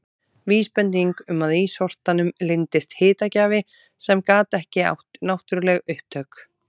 Vísbending um að í sortanum leyndist hitagjafi sem gat ekki átt náttúruleg upptök.